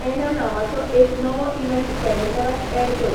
ऍना नावांचो एक नवो इवँट कॅलेंडरांत ऍड कर